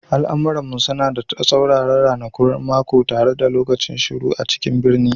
Al'amuran mu suna da tsauraran ranakun mako tare da rashin lokacin shiru a cikin birni